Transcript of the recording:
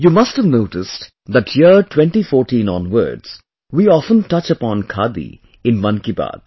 You must have noticed that year 2014 onwards, we often touch upon Khadi in Mann ki Baat